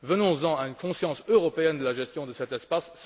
Venons en à une conscience européenne de la gestion de cet espace.